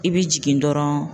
I bɛ jigin dɔrɔn